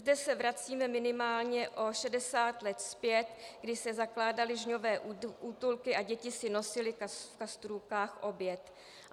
Zde se vracíme minimálně o 60 let zpět, kdy se zakládaly žňové útulky a děti si nosily v kastrůlcích oběd.